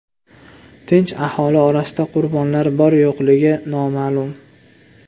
Tinch aholi orasida qurbonlar bor-yo‘qligi noma’lum.